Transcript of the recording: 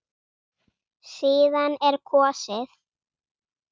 Síðan er kosið.